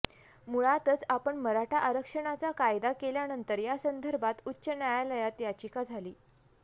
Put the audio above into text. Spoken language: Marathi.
मुळातच आपण मराठा आरक्षणाचा कायदा केल्यानंतर या संदर्भात उच्च न्यायालयात याचिका झाली